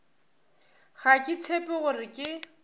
ga ke tshepe gore ke